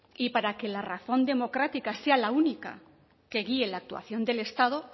y para que la razón democrática sea la única que guíe la actuación del estado